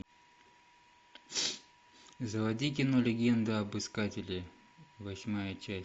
заводи кино легенда об искателе восьмая часть